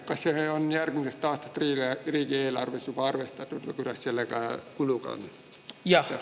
Kas see on järgmise aasta riigieelarvesse juba arvestatud või kuidas selle kuluga on?